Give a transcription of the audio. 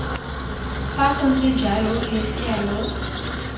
fa gontse jalo losea lo